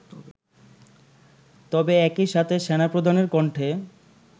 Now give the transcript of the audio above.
তবে একইসাথে সেনাপ্রধানের কণ্ঠে